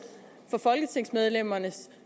for folketingsmedlemmernes